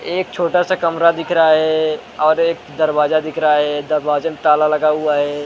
एक छोटा सा कमरा दिख रहा है और एक दरवाजा दिख रहा है दरवाजे में ताला लगा हुआ है।